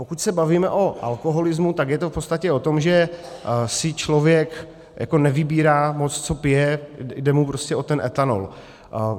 Pokud se bavíme o alkoholismu, tak je to v podstatě o tom, že si člověk nevybírá moc, co pije, jde mu prostě o ten etanol.